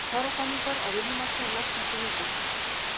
Kjarasamningar á vinnumarkaði losna eftir viku